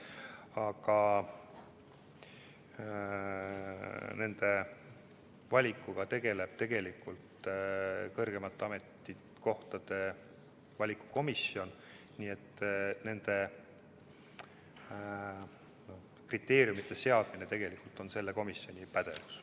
Aga selliste valikutega tegeleb kõrgemate ametnike valikukomisjon ja nende kriteeriumide seadmine on selle komisjoni pädevuses.